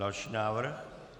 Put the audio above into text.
Další návrh.